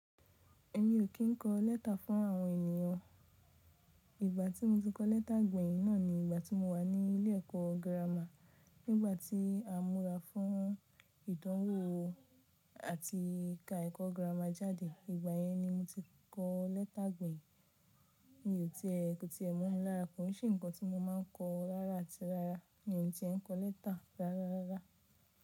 Èmi ò kí ń kọ lẹ́tà fún àwọn ènìyàn. Ìgbà tí mo ti kọ lẹ́tà gbèyì náà ni ìgbà tí mo wà ní ilé ẹ̀kọ́ girama. Nígbà tí a múra fún ìdánwò àti ìka ẹ̀kọ́ girama jáde, ìgbà yẹn ni mo ti kọ lẹ́tà gbèyì. Mi ò ti ẹ́, ti ẹ́ mọ̀ lára kan, ó ṣe nǹkan tí mo máa ń kọ rárá àti rárá. Mi ò ti ẹ́ ń kọ lẹ́tà rárá rárá.